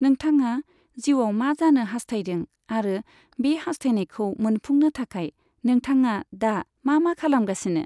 नोंथाङा जिउआव मा जानो हासथायदों आरो बे हासथायनायखौ मोनफुंनो थाखाय नोंथाङा दा मा मा खालामगासिनो?